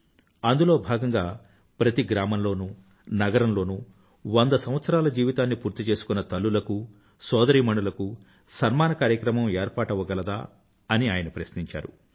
అందులో భాగంగా ప్రతి గ్రామంలోనూ నగరంలోనూ వంద సంవత్సరాలు జీవితాన్ని పూర్తి చేసుకున్న తల్లులకూ సోదరీమణులకూ సన్మాన కార్యక్రమం ఏర్పాటవ్వగలదా అని ప్రశ్నించారాయన